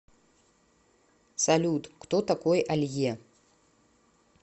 салют кто такой алье